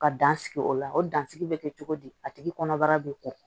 Ka dan sigi o la o dansigi bɛ kɛ cogo di a tigi kɔnɔbara bɛ ko